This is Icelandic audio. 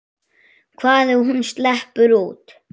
Hvað ef hún sleppur út?